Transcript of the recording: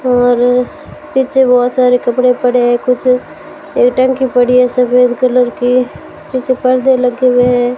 और पीछे बहुत सारे कपड़े पड़े हैं कुछ एक टंकी पड़ी है सफेद कलर की पीछे पर्दे लगे हुए है।